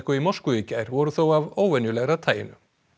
í Moskvu í gær voru þó af óvenjulegra taginu